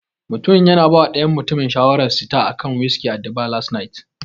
Mutumin yana bawa dayan mutumin shawarar sita akan wiski at the bar last night.